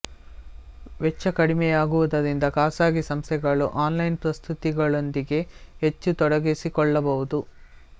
ವೆಚ್ಚ ಕಡಿಮೆಯಾಗುವುದರಿಂದ ಖಾಸಗಿ ಸಂಸ್ಥೆಗಳು ಆನ್ಲೈನ್ ಪ್ರಸ್ತುತಿಗಳೊಂದಿಗೆ ಹೆಚ್ಚು ತೊಡಗಿಸಿಕೊಳ್ಳಬಹುದು